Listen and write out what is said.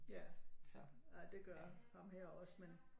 Ja det gør ham her også men